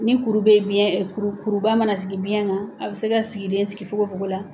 Ni kuru be biyɛn kuru kuruba mana sigi biyɛn kan a bɛ se ka sigi den sigi fogo fogo la